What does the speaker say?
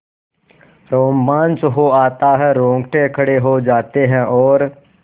रोमांच हो आता है रोंगटे खड़े हो जाते हैं और